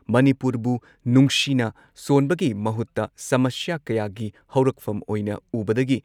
ꯃꯅꯤꯄꯨꯔꯕꯨ ꯅꯨꯡꯁꯤꯅ ꯁꯣꯟꯕꯒꯤ ꯃꯍꯨꯠꯇ ꯁꯃꯁ꯭ꯌꯥ ꯀꯌꯥꯒꯤ ꯍꯧꯔꯛꯐꯝ ꯑꯣꯏꯅ ꯎꯕꯗꯒꯤ